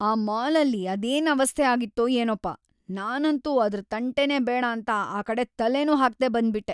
ಆ ಮಾಲ್‌ಅಲ್ಲಿ ಅದೇನ್‌ ಅವಸ್ಥೆ ಆಗಿತ್ತೋ ಏನೋಪ, ನಾನಂತೂ ಅದ್ರ್‌ ತಂಟೆನೇ ಬೇಡಾಂತ ಆ ಕಡೆ ತಲೆನೂ ಹಾಕ್ದೇ ಬಂದ್ಬಿಟ್ಟೆ.